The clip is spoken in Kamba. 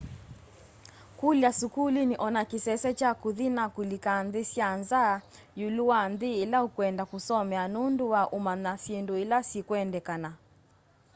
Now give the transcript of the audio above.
kũlya sukuluni o na kĩsese kya kũthi na kũlika nthĩ sya nza ĩũlũ wa nthĩ ĩla ũkwenda kũsomea nũndũ wa ũmanya syĩndũ ila sikwendekana